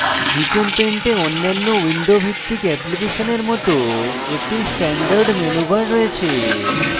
gchempaint a অন্যান্য window ভিত্তিক অ্যাপ্লিকেশনের মত একটি standard menu bar রয়েছে